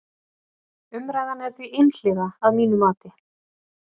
Umræðan er því einhliða að mínu mati.